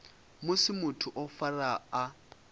musi muthu o farwa a